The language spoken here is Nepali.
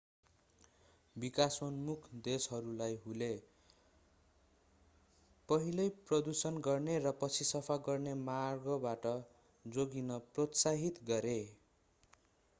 विकासोन्मुख देशहरूलाई हूले पहिले प्रदूषण गर्ने र पछि सफा गर्ने मार्गबाट जोगिन प्रोत्साहित गरे